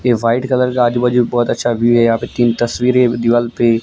ये white colour के आजू बाजू बहोत अच्छा भी है यहां पे तीन तस्वीरे दिवाल पे--